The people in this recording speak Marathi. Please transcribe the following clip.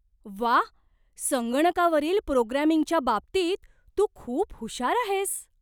व्वा! संगणकावरील प्रोग्रामिंगच्या बाबतीत तू खूप हुशार आहेस.